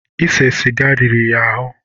Ịsé sịga riri ya ahụ́.